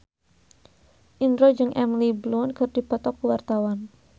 Indro jeung Emily Blunt keur dipoto ku wartawan